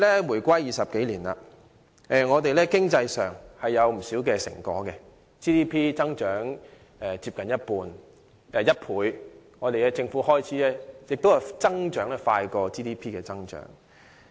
回歸20年，我們在經濟上取得不少成果 ，GDP 增長接近1倍，而政府開支的增幅甚至大於 GDP 增長。